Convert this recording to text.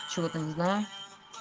чего-то не знаю